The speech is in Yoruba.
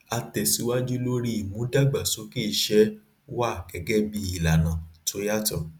a tẹsíwájú lori ìmúdàgbàsókè iṣẹ wa gẹgẹ bí ìlànà to yàtọ